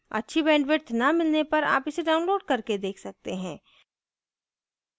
अच्छी bandwidth न मिलने पर आप इसे download करके देख सकते हैं